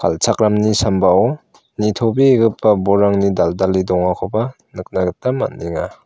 al·chakramni sambao nitobegipa bolrangni dal·dale dongakoba nikna gita man·enga.